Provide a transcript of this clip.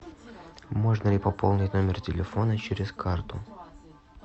можно ли пополнить номер телефона через карту